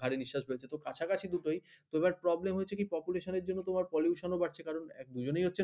ভারি বিশ্বাস রয়েছে খুব কাছাকাছি দুটোই তো problem হচ্ছে কি population এর জন্য pollution বাড়ছে । কারণ দুজনই হচ্ছে